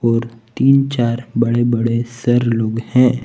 और तीन चार बड़े बड़े सर लोग हैं।